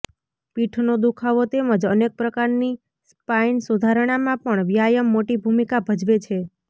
પીઠનો દુખાવો તેમજ અનેક પ્રકારની સ્પાઇન સુધારણામાં પણ વ્યાયામ મોટી ભૂમિકા ભજવે છે